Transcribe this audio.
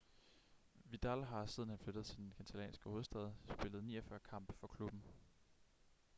vidal har siden han flyttede til den catalanske hovedstad spillet 49 kampe for klubben